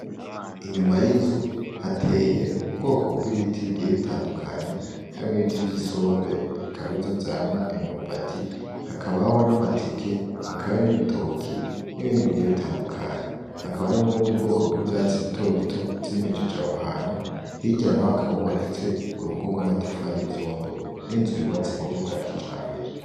Inyuma y'inzu hateye ubwoko bw'ibiti bigeye bitandukanye, harimwo ibiti vy'isombe bikaba ari vyo vyama imyumbati, hakabaho n'amateke, hakabo n'ibitoke, n'ibindi bigeye bitandukanye. Hakaba hari n'ubundi bwoko bw'ivyatsi bito bito vyimejeje aho hantu, hirya na ho hakaba hubakitse urugo rw'amatafari y'ivyondo n'inzu yubatse mu buryo bwa kijambere.